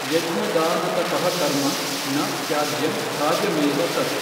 ಯಜ್ಞದಾನತಪಃಕರ್ಮ ನ ತ್ಯಾಜ್ಯಂ ಕಾರ್ಯಮೇವ ತತ್।